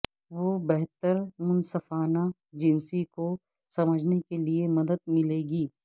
وہ بہتر منصفانہ جنسی کو سمجھنے کے لئے مدد ملے گی